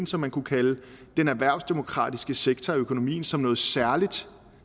som man kunne kalde den erhvervsdemokratiske sektor i økonomien som noget særligt